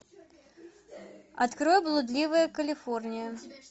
открой блудливая калифорния